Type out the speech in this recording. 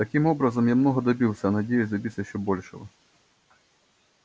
таким образом я много добился надеюсь добиться ещё большего